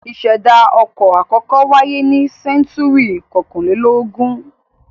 Ìṣẹ̀dá ọkọ̀ àkọ́kọ́ wáyé ní sẹ́ńtúrì kọkànlélógún.